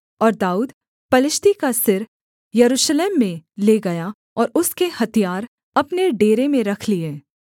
और दाऊद पलिश्ती का सिर यरूशलेम में ले गया और उसके हथियार अपने डेरे में रख लिए